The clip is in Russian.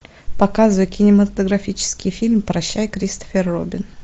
показывай кинематографический фильм прощай кристофер робин